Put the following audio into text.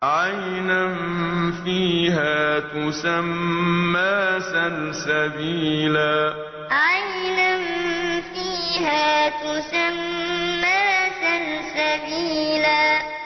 عَيْنًا فِيهَا تُسَمَّىٰ سَلْسَبِيلًا عَيْنًا فِيهَا تُسَمَّىٰ سَلْسَبِيلًا